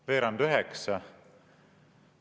– veerand üheksa.